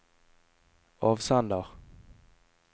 avsender